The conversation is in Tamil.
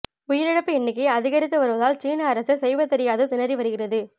உயிரிழப்பு எண்ணிக்கை அதிகரித்து வருவதால் சீன அரசு செய்வதறியாது திணறி வருகிறது